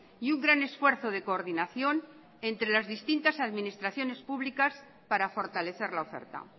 y un gran esfuerzo de coordinación entre las distintas administraciones públicas para fortalecer la oferta